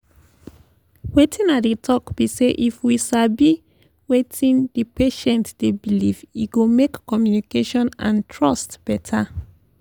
wetin i dey talk be say if we sabi wetin di patient dey believe e go make communication and trust better.